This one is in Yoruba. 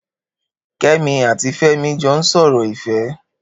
Kemi àtí Femi jọ n sọrọ ifẹ̀